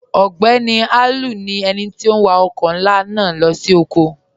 Ogbeni Aliu ni ènì tó n wà ọkọ̀ nlá naa lọ sí ọ̀kọ̀.